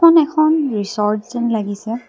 এইখন এখন ৰিচৰ্ত যেন লাগিছে।